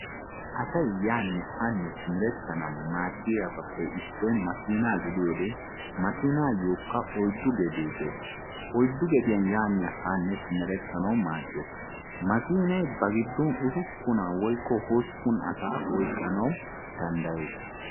Asay yaanne haanne simerettanawu maadiyabappe issoy makkinna gidiyoodde makkinayokka oyiddu gedde dees oyiddu gedde yaanne haanne simerettanawu maades, makkinnay ba giddon usuppun woyikko hosppun asaa oyqqinna danddayees.